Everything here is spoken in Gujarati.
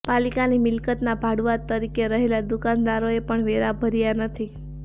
પાલિકાની મિલકતના ભાડુઆત તરીકે રહેલા દુકાનદારોએ પણ વેરા ભર્યા નથી